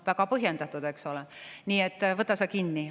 Väga põhjendatud, eks ole, nii et võta sa kinni.